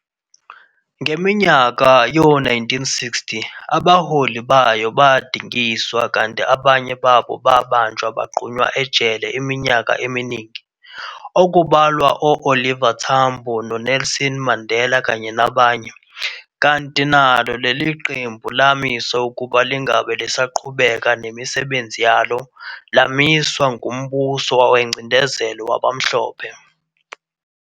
Ngeminyaka yo-1960 abaholi bayo badingiswa kanti abanye babo babanjwa bagqunywa ejele iminyaka eminingi, okubalwa o-Oliver Tambo noNelson Mandela kanye nabanye, kanti nalo leli qembu lamiswa ukuba lingabe lisaqhubeka nemisebenzi yalo, lamiswa ngumbuso wengcindezelo wabamhlophe.